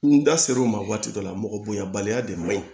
N da ser'o ma waati dɔ la mɔgɔ bonyabaliya de ma ɲi